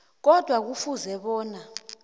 kodwa kufuze bona